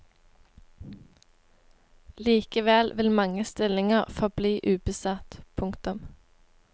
Likevel vil mange stillinger forbli ubesatt. punktum